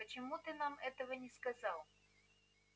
почему ты нам этого не сказал